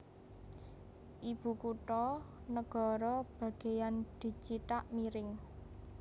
Ibukutha negara bagéyan dicithak miring